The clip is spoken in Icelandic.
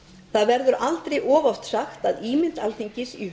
það verður aldrei of oft sagt að ímynd alþingis í